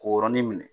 K'o yɔrɔnin minɛ